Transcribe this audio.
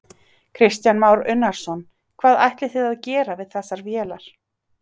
Kristján Már Unnarsson: Hvað ætlið þið að gera við þessar vélar?